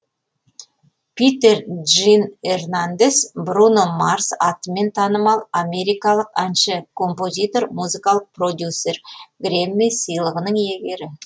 питер джин эрнандес бруно марс атымен танымал америкалық әнші композитор музыкалық продюсер грэмми сыйлығынын иегері